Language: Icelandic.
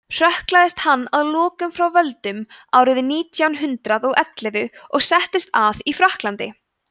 hrökklaðist hann að lokum frá völdum árið nítján hundrað og ellefu og settist að í frakklandi